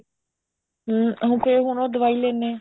ਹਮ ਫੇਰ ਹੁਣ ਉਹ ਦਵਾਈ ਲੇਂਦੇ ਐ